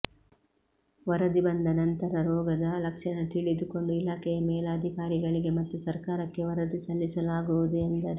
ವರದಿ ಬಂದ ನಂತರ ರೋಗದ ಲಕ್ಷಣ ತಿಳಿದುಕೊಂಡು ಇಲಾಖೆಯ ಮೇಲಾಧಿಕಾರಿಗಳಿಗೆ ಮತ್ತು ಸರ್ಕಾರಕ್ಕೆ ವರದಿ ಸಲ್ಲಿಸಲಾಗುವುದು ಎಂದರು